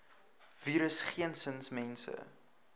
virus geensins mense